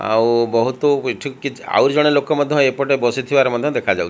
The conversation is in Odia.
ଆଉ ବହୁତୁ ବିଚୁ କିଚ୍ ଆଉ ଜଣେ ଲୋକ ମଧ୍ୟ ଏପଟେ ବସିଥିବାର ମଧ୍ୟ ଦେଖାଯାଉ --